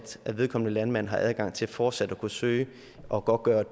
at vedkommende landmand har adgang til fortsat at kunne søge og godtgøre at